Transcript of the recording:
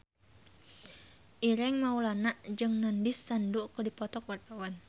Ireng Maulana jeung Nandish Sandhu keur dipoto ku wartawan